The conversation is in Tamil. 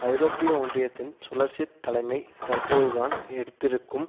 ஐரோப்பிய ஒன்றியத்தின் சுழற்சித் தலைமை தற்போதுதான் எடுத்திருக்கும்